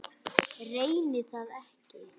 Reyni það ekki.